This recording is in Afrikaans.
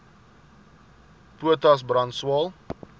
potas brand swael